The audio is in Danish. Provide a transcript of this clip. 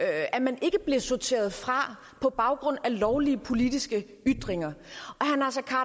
at man ikke blev sorteret fra på baggrund af lovlige politiske ytringer